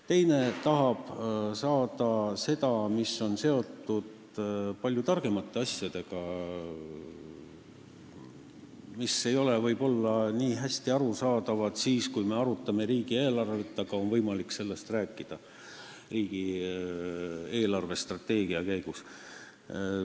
Teine tahab saada seda, mis on seotud palju keerulisemate asjadega, mis ei ole võib-olla nii hästi arusaadavad, kui me arutame riigieelarvet, aga nendest on võimalik rääkida riigi eelarvestrateegia arutelu käigus.